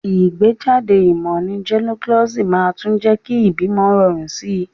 Ìgbéjáde ìmò ní gynecology màá tún jé kí ìbímo rorùn sí